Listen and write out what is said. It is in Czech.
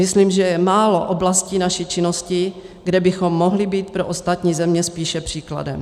Myslím, že je málo oblastí naší činnosti, kde bychom mohli být pro ostatní země spíše příkladem.